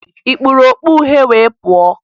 Ị kpuru okpu uhie wee pụọ?